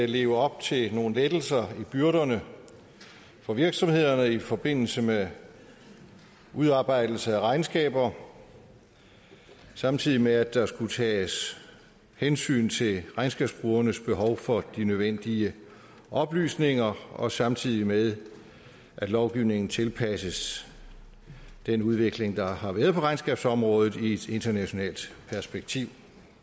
leve op til nogle lettelser i byrderne for virksomhederne i forbindelse med udarbejdelse af regnskaber samtidig med at der skulle tages hensyn til regnskabsbrugernes behov for de nødvendige oplysninger og samtidig med at lovgivningen tilpasses den udvikling der har været på regnskabsområdet i et internationalt perspektiv